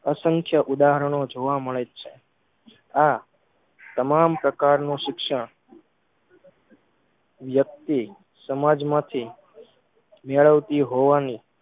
અસંખ્ય ઉદાહરણો જોવા મળે આ તમામ પ્રકારનું શિક્ષણ વ્યક્તિ સમાજમાંથી મોળવતી હોવાની